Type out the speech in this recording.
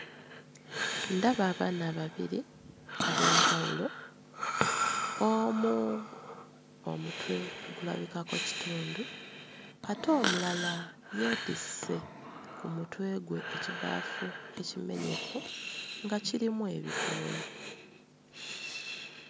Ndaba abaana babiri ab'enjawulo, omu omutwe gulabikako kitundu, ate omulala yeetisse ku mutwe gwe ekibaafu ekimenyefu nga kirimu ebikoola.